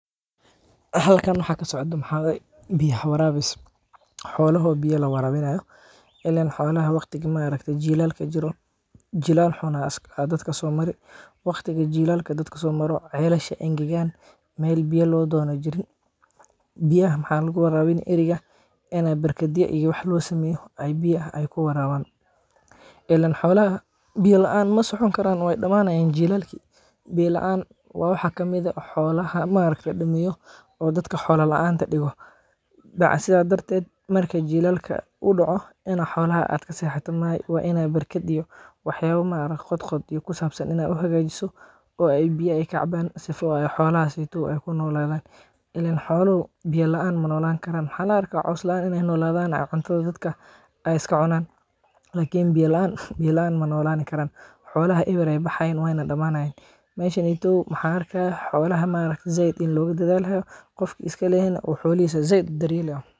Halkan waxi kasocdo waxaa waye biya warabis xoloaha oo biya la waraabinayo ileen xolaha ma aragte waqtiga jilaalka jiro, jilaal xun ayaa dadka soomari celasha nah engegaan meel biya loo doono nah jirin biyaha waxa lagu waraabini arigga ini barkadyo loo sameeyo, biyaha ay kuwarabaan ileen xolaha biya laan ma socon karaan way dhamaanayan jilaalka biya laanta waa waxa kamid ah oo xolaha dhameeyo oo dadka xoola laanta dhigo sidaas dharteet marki jilaalka uu dhoco inaad xolaha kasexato maahan waa inaad barkad iyo waxyaaba qhodqhod kusabsan inaa u hagaajiso oo ay biya kacabaan sifola ay xolahasi kunoladaan ileen xooluhu biya laan ma nolan karaan waxaa laarka in ay caws laan noladaan cuntada dadka ay iska cunaan lakin biya laan ma nolaan karaan xolaha eber ayay baxayaan way nah dhamanayan meshani waxaan arkaa xolaha in zaid looga dhadalaayo qofki iskalahaa xolahiisa zaid u dharyeelayo.